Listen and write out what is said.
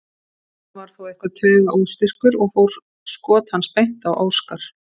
Kristján var þó eitthvað taugaóstyrkur og fór skot hans beint á Óskar.